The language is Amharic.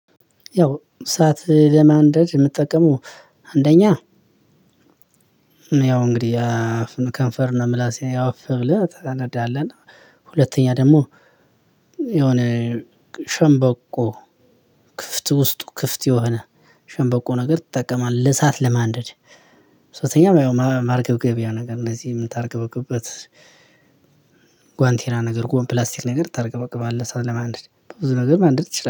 ያው እሳት ለማንደድ የምጠቀመው። አንደኛ ያው እንግዲህ አፍን ከንፈር ነው ምላሴ ያው እፍ ብለህ ታነዳለህ። እና ሁለተኛ ደግሞ የሆነ ሸንበቆ ክፍት ውስጥ ክፍት የሆነ ሸንበቆ ነገር ትጠቀማለህ። እሳት ለማንደድ። ሶስተኛ ማርገብገቢያ ነገር እነዚህ የምታርገበግበት ጓንቴራ ነገር ጎን ፕላስቲክ ነገር ታርገበግባለህ። እሳት ለማንደድ በብዙ ነገር ማንደድ ትችላለህ